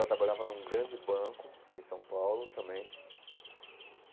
Ela trabalhava num grande banco aqui em São Paulo também.